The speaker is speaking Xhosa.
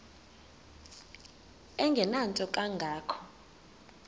engenanto kanga ko